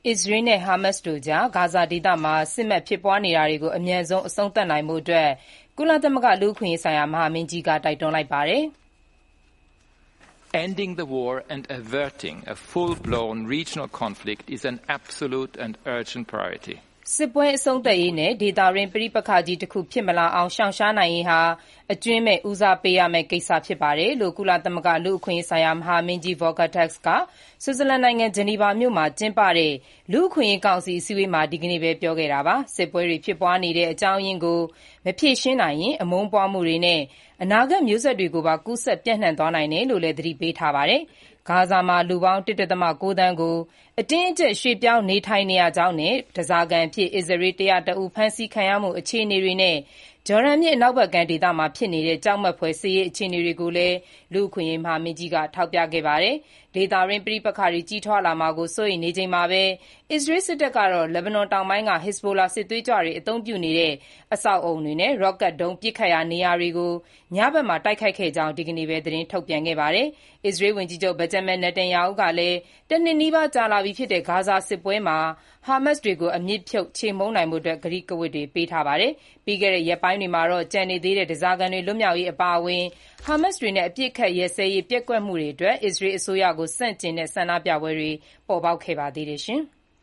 အစ္စရေးနဲ့ ဟားမတ်စ်တို့ကြား ဂါဇာဒေသမှာ စစ်ဖြစ်နေတာတွေကို အမြန်ဆုံးအဆုံးသတ်နိုင်ဖို့ ကုလသမဂ္ဂ လူ့အခွင့်အရေးဆိုင်ရာ မဟာမင်းကြီးက တိုက်တွန်းလိုက်ပါတယ်။ "စစ်ပွဲအဆုံးသတ်ရေးနဲ့ ဒေသတွင်း ပဋိပက္ခကြီးတခု ဖြစ်မလာအောင် ရှောင်ရှားနိုင်ရေးဟာ အကြွင်းမဲ့ ဦးစားပေးရမယ့် ကိစ္စဖြစ်ပါတယ်။" လို့ ကုလသမဂ္ဂ လူ့အခွင့်အရေးဆိုင်ရာ မဟာမင်းကြီး Volker Turk ဆွစ်ဇာလန်နိုင်ငံ ဂျနီဗာမြို့မှာ ကျင်းပတဲ့ လူ့အခွင့်အရေးကောင်စီ အစည်းအဝေးမှာ ဒီကနေ့ပဲ ပြောခဲ့တာပါ။ စစ်ပွဲတွေဖြစ်ပွားနေတဲ့ အကြောင်းအရင်းကို မဖြေရှင်းနိုင်ရင် အမုန်းပွားမှုတွေနဲ့ အနာဂတ် မျိုးဆက်တွေကိုပါ ကူးစက်ပျံ့နှံ့သွားနိုင်တယ်လို့လည်း သတိပေးခဲ့တာပါ။ ဂါဇာမှာ လူပေါင်း ၁.၉ သန်း ကို အတင်းအကျပ် ရွေ့ပြောင်းနေထိုင်နေရကြောင်းနဲ့ ဓားစာခံအဖြစ် အစ္စရေး ၁၀၁ဦးဖမ်းဆီးခံရမှု အခြေအနေတွေနဲ့ ဂျော်ဒန်မြစ်အနောက်ဘက်ကမ်းဒေသမှာ ဖြစ်နေတဲ့ ကြောက်မက်ဖွယ်စစ်ရေးအခြေအနေတို့ကိုလည်း လူ့အခွင့်အရေး မဟာမင်းကြီးက ထောက်ပြခဲ့ပါတယ်။ ဒေသတွင်း ပဋိပက္ခတွေ ကြီးထွားလာမှာကို စိုးရိမ်နေချိန်မှာပဲ အစ္စရေးစစ်တပ်ကတော့ လက်ဘနွန်တောင်ပိုင်းက ဟစ်ဇ်ဘိုလာ စစ်သွေးကြွတွေ အသုံးပြုနေတဲ့ အဆောက်အဦတွေနဲ့ ရော့ကတ်ဒုံး ပစ်ခတ်ရာ နေရာကို ညဖက်မှာ တိုက်ခိုက်ခဲ့ကြောင်း ဒီနေ့ပဲ သတင်းထုတ်ပြန်ခဲ့ပါတယ်။ အစ္စရေးဝန်ကြီးချုပ် Benjamin Netanyahu ကလည်း တနှစ်နီးပါးကြာလာပြီးဖြစ်တဲ့ ဂါဇာစစ်ပွဲမှာ ဟာမတ်စ်တွေကို အမြစ်ပြုတ် ချေမှုန်းဖို့ ကတိကဝတ်တွေ ပေးထားပါတယ်။ ပြီးခဲ့တဲ့ ရက်ပိုင်းတွေမှာတော့ ကျန်နေသေးတဲ့ ဓားစာခံတွေ လွတ်မြောက်ရေးအပါအဝင် ဟားမတ်စ်တွေနဲ့ အပစ်အခတ်ရပ်စဲရေး ပျက်ကွက်မှုတွေအတွက် အစ္စအရေး အစိုးရကို ဆန့်ကျင်တဲ့ ဆန္ဒပြပွဲတွေ ပေါ်ပေါက်ခဲ့ပါသေးတယ်။